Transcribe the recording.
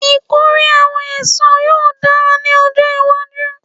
Ikore awọn eso yoo dara ni ọjọ iwaju